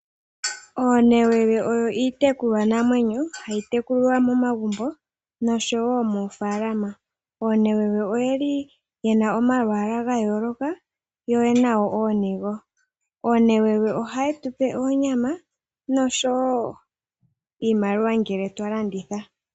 Oonewewe oyo iitekulwa namwenyo, hayi tekulwa momagumbo noshowo moofaalama. Oonewewe oyeli ye na omalwaala gayooloka yo oye na woo ooniga. Oonewewe ohaye tu pe onyama oshowo iimaliwa ngele twa landitha.